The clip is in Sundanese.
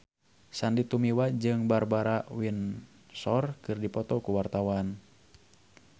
Sandy Tumiwa jeung Barbara Windsor keur dipoto ku wartawan